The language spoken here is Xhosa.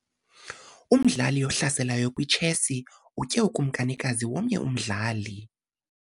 Umdlali ohlaselayo kwitshesi utye ukumkanikazi womnye umdali.